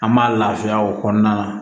An b'a lafiya o kɔnɔna na